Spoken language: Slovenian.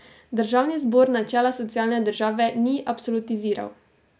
Državni zbor načela socialne države ni absolutiziral.